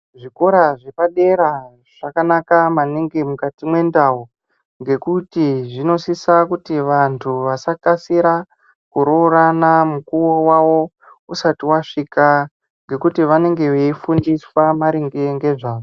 Zvikora zvepadera zvakanaka maningi mukati mwendau ngekuti zvinosisa kuti vantu vasakasira kuroorana mukowo wawo usati wasvika ngekuti vanenge veifundiswa maringe ngezvazvo.